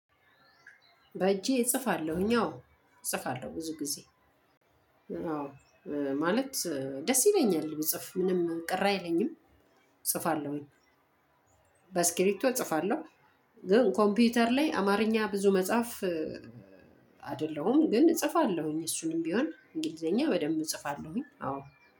በእጄ እጽፋለሁኝ አዎ እጽፋለሁ ብዙ ጊዜ አዎ ማለት ደስ ይለኛል ብጽፍ ምንም ቅራ አይለኝም። እጽፋለሁኝ በስኪሪቶ እጽፋለሁ። ግን ኮምፒውተር ላይ አማርኛ ብዙ መጽሐፍ አይደለሁም። ግን እጽፋለሁኝ እሱንም ቢሆን እንግሊዘኛ በደንብ እጽፋለሁኝ አዎ